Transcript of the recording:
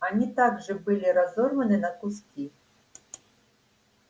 они также были разорваны на куски